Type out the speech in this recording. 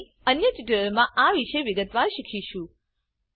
આપણે અન્ય ટ્યુટોરીયલ માં આ વિશે વિગતવાર શીખીશું